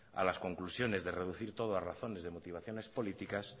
a las conclusiones de reducir todo a razones de motivaciones políticas